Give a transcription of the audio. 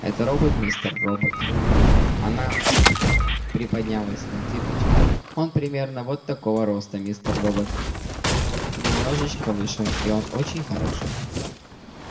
это робот мистер робот она приподнялась на цыпочки он примерно вот такого роста мистер робот немножечко выше и он очень хороший